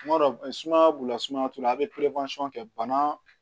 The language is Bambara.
Tuma dɔ suman b'u la sumaya t'u la a bɛ kɛ bana